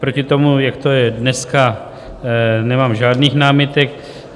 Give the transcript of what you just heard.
Proti tomu, jak to je dneska, nemám žádných námitek.